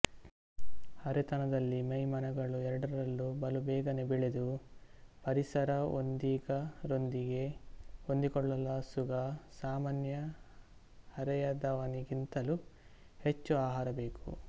ಹರೆತನದಲ್ಲಿ ಮೈ ಮನಗಳು ಎರಡರಲ್ಲೂ ಬಲು ಬೇಗನೆ ಬೆಳೆದು ಪರಿಸರ ಒಂದಿಗರೊಂದಿಗೆ ಹೊಂದಿಕೊಳ್ಳಲೋಸುಗ ಸಾಮಾನ್ಯ ಹರೆಯದವನಿಗಿಂತಲೂ ಹೆಚ್ಚು ಆಹಾರ ಬೇಕು